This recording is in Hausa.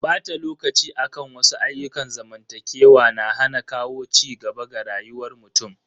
Bata lokaci akan wasu ayyukan zamantakewa na hana kawo cigaba ga rayuwar mutum.